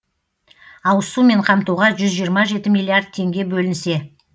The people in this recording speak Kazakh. ауызсумен қамтуға жүз жиырма жеті миллиард теңге бөлінсе